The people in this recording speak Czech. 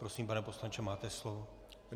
Prosím, pane poslanče, máte slovo.